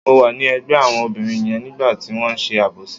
Mo wà ní ẹ̀gbẹ́ àwọn obìnrin yẹn nígbà tí wọ́n ṣe àbòsí.